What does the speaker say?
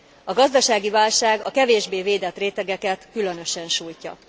A gazdasági válság a kevésbé védett rétegeket különösen sújtja.